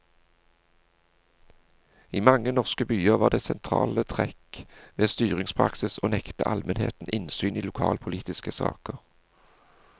I mange norske byer var det sentrale trekk ved styringspraksis å nekte almenheten innsyn i lokalpolitiske saker.